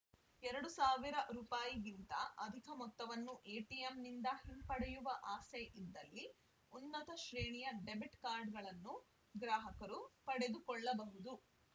ಎರಡು ಸಾವಿರ ರೂಪಾಯಿಗಿಂತ ಅಧಿಕ ಮೊತ್ತವನ್ನು ಎಟಿಎಂನಿಂದ ಹಿಂಪಡೆಯುವ ಆಸೆ ಇದ್ದಲ್ಲಿ ಉನ್ನತ ಶ್ರೇಣಿಯ ಡೆಬಿಟ್‌ ಕಾರ್ಡ್‌ಗಳನ್ನು ಗ್ರಾಹಕರು ಪಡೆದುಕೊಳ್ಳಬಹುದು